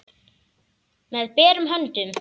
Með berum höndum.